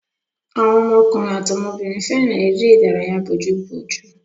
Àwọn ọmọkùnrin àti ọmọbìnrin fẹ́ràn èré-ìdárayá bójú ojú.